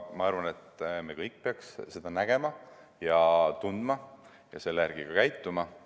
Ma arvan, et me kõik peaks nii seda nägema ja tundma ja selle järgi ka käituma.